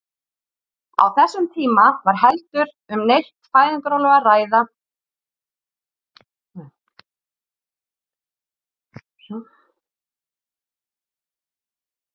Á þessum tíma var ekki heldur um neitt fæðingarorlof að ræða eins og nú er.